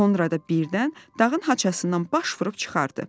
Sonra da birdən dağın haçasından baş vurub çıxardı.